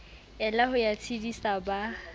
ela ho ya tshedisa ba